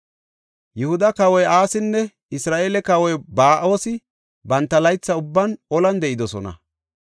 Yihuda kawoy Asinne Isra7eele kawoy Ba7oosi, banta laytha ubban olan de7idosona.